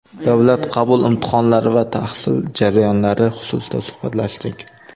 davlat qabul imtihonlari va tahsil jarayonlari xususida suhbatlashdik.